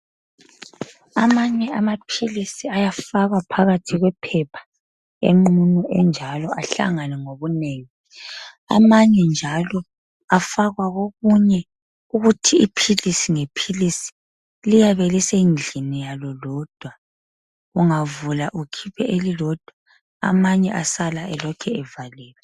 Amanye amaphilisi ayafakwa phakathi kwephepha enqunu enjalo ahlangane ngobunengi amanye njalo afakwa kokunye ukuthi iphilisi ngephilisi liyabe lisendlini yalo lodwa ungavula ukhiphe elilodwa amanye asala elokhevaliwe